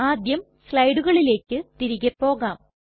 ആദ്യം സ്ലയ്ടുകളിലെക് തിരികെ പോകാം